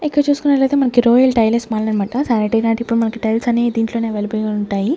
ఇక్కడ చూసుకున్నట్లయితే మనకి రోయల్ టైలర్స్ మాల్ అనమాట ఇప్పుడు మనకి టైల్స్ అన్ని దీంట్లోనే అవైలబుల్గా ఉంటాయి.